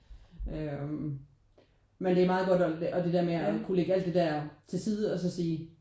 Øh men det er meget godt at og det der med at kunne lægge al det der til side og så sige